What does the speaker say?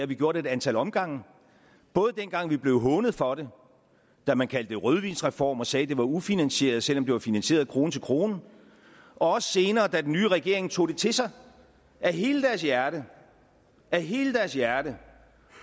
vi gjort ad et antal omgange både dengang vi blev hånet for det da man kaldte det rødvinsreform og sagde at det var ufinansieret selv om det var finansieret krone til krone og også senere da den nye regering tog det til sig af hele deres hjerte af hele deres hjerte